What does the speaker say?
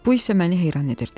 Bu isə məni heyran edirdi.